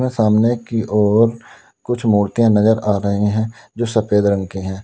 सामने की ओर कुछ मूर्तियां नजर आ रहे हैं जो सफेद रंग के हैं।